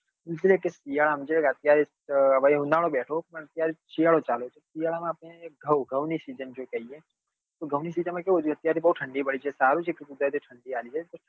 શિયાળા માં જે અત્યારે ઉનાળો બેઠો જે શિયાળો ચાલુ હતો શિયાળા માં આપડે ઘઉં ઘઉં સીજન જો કહીએ તો ઘઉં ની સીજન માં કેવું જે અત્યારે બઉ ઠંડી પડે છે સારું છે કે કુદરતી ઠંડી આલી છે